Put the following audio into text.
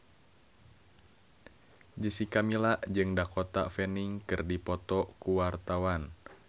Jessica Milla jeung Dakota Fanning keur dipoto ku wartawan